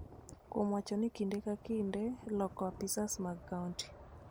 kuom wacho ni kinde ka kinde loko apisas mag kaonti